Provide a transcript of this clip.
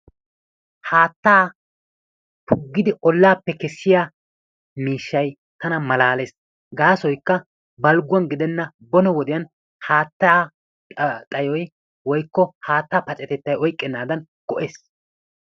Haattaa puggidi ollaappe kesiya miishshay tana malaallees. Gaassoykka balgguwan gidenan bone wodiyan haattaa xayoy woykko haattaa paccatettay oyqqenaadan go"ees.